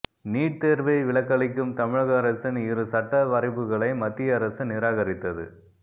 NEET தேர்வை விலக்களிக்கும் தமிழக அரசின் இரு சட்ட வரைபுகளை மத்திய அரசு நிராகரித்தது